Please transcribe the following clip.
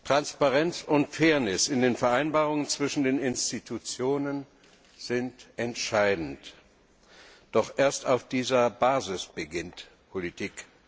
Transparenz und Fairness in den Vereinbarungen zwischen den Institutionen sind entscheidend, doch erst auf dieser Basis beginnt Politik.